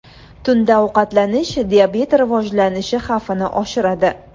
Tunda ovqatlanish diabet rivojlanishi xavfini oshiradi.